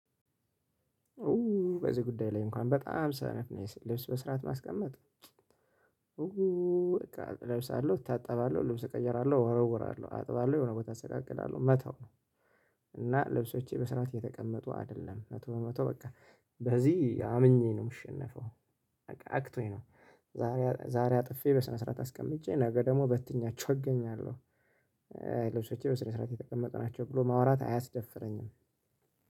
ኡ በዚህ ጉዳይ ላይ እንኳን በጣም ሰነፍ ነኝ። ልብስ በስርዓት ማስቀመጥ ኡ በቃ እልብሳለው እታጠባለው ልብስ እቀይራለው እወረውራለው አጥባለው የሆነ ቦታ እሰቃቅላለው መተው ነው። እና ልብሶቼ በስርዓት የተቀመጡ አይደለም መቶ በመቶ በቃ በዚህ አምኜ ነው የምሸነፈው። በቃ አክቶኝ ነው ዛሬ ዛሬ አጥፌ በስነ ስርዓት አስቀምጬ ነገ ደግሞ በትኜያቸው አገኛለው። ልብሶቼ በስነ ስርዓት የተቀመጡ ናቸው ብሎ ማውራት አያስደፍረኝም።